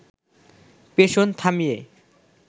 পেষণ থামিয়ে